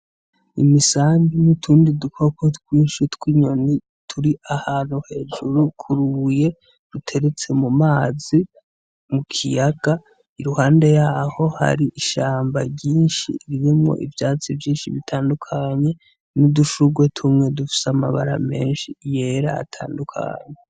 Imisambi n'utundi dukoko twinshi tw'inyoni turi ahantu hejuru kurubuye ruteretse mumazi mu kiyaga iruhande yaho hari ishamba ryinshi ririmwo ivyatsi vyinshi bitandukanye n'udushugwe tumwe dufise amabara menshi yera atandukanye